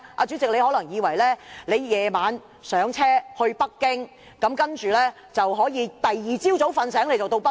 主席，你可能以為晚上登車，第二天早上醒來就可以到達北京。